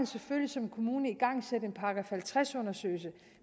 selvfølgelig som kommune igangsætte en § halvtreds undersøgelse